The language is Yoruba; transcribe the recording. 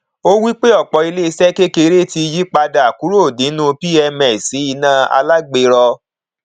ó wí pé ọpọ iléiṣẹ kekere ti yí padà kúrò nínú pms sí iná alágberọ